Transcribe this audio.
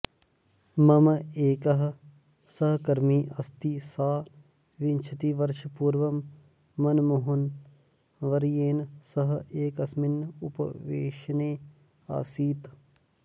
मम एकः सहकर्मी अस्ति सः विंशतिवर्षपूर्वं मनमोहनवर्येण सह एकस्मिन् उपवेशने आसीत्